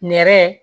Nɛrɛ